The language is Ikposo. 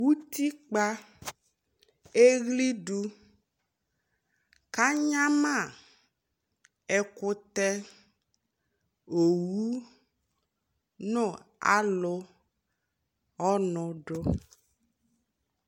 Utikpa ɛɣli du ka nyama ɛkutɛ, owu, nu alu ɔnu du